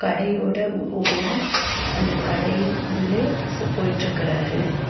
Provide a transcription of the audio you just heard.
கடையோட ஓனர் அந்த கடையின் உள்ளே ஸ்சு போயிட்ருக்கறாரு.